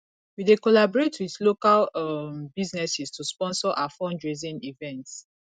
we dey collaborate with local um businesses to sponsor our fundraising events